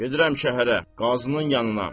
Gedirəm şəhərə, qazının yanına.